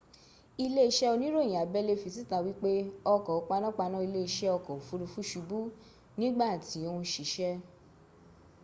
ilé isé oníròyìn abẹ́lé́ fi síta wípé ọkọ̀ panápaná ilé isé ọkọ̀ òfuurufú subú nígbà tí o ń sisẹ́